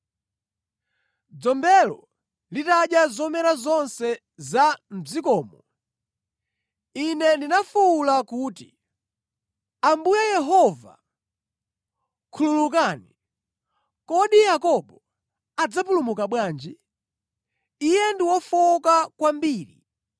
Dzombelo litadya zomera zonse za mʼdzikomo, Ine ndinafuwula kuti, “Ambuye Yehova, khululukani! Kodi Yakobo adzapulumuka bwanji? Iye ndi wofowoka kwambiri!”